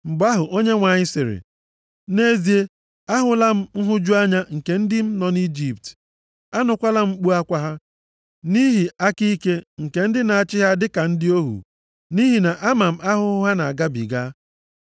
Mgbe ahụ Onyenwe anyị sịrị, “Nʼezie, ahụla m nhụju anya nke ndị m nọ nʼIjipt, anụkwala m mkpu akwa ha, nʼihi aka ike nke ndị na-achị ha dịka ndị ohu. Nʼihi na ama m ahụhụ ha na-agabiga.